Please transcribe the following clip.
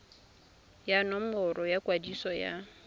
ya nomoro ya kwadiso ya